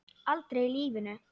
Aldrei í lífinu.